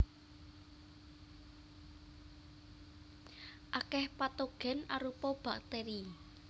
Akèh patogen arupa bakteri